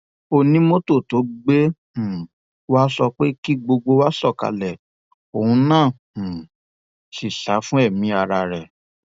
onímọtò tó gbé um wa sọ pé kí gbogbo wa sọkalẹ òun náà um sì sá fún ẹmí ara rẹ